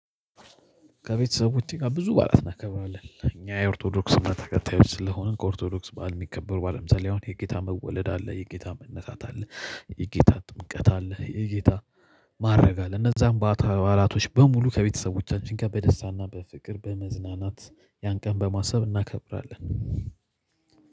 ከቤተሰብ ውጪ ጋር ብዙ ባላት እናከብራለን እኛ የኦርቶዶክስ እምነት ተከታዮች ስለሆንን ከኦርቶዶክስ ባእል የሚከበሩ በዓል አሁን የጌታ መወለድ አለ የጌታ መነታት አለ። የጌታ ጥምቀት አለ፣ የጌታ ማረግ አለ፣ እነዛን ባላቶች በሙሉ ከቤተሰብ ውጪ ጋር በደስታ እና በፍቅር በመዝናናት ያን ቀን በማሰብ እናከብራለን።